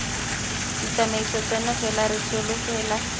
ditsamaiso tseno fela re solofela